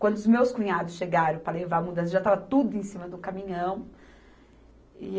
Quando os meus cunhados chegaram para levar a mudança, já estava tudo em cima do caminhão. E